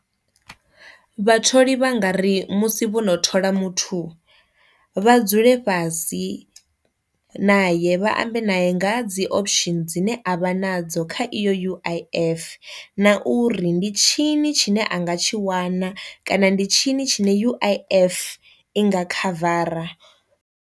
Vhatholi vha nga ri musi vhono thola muthu vha dzule fhasi na ye vha ambe naye nga dzi option dzine a avha nadzo kha iyo u_i_f, na uri ndi tshini tshine a nga tshi wana kana ndi tshini tshine uif i nga khavara.